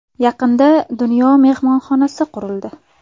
Yaqinda ‘Dunyo‘ mehmonxonasi qurildi.